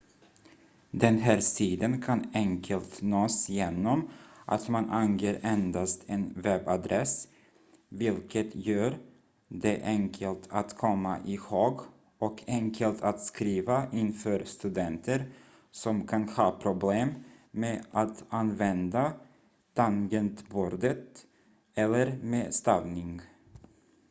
den här sidan kan enkelt nås genom att man anger endast en webbadress vilket gör det enkelt att komma ihåg och enkelt att skriva in för studenter som kan ha problem med att använda tangentbordet eller med stavning